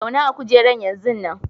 Zauna a'kujeran yanzun nan!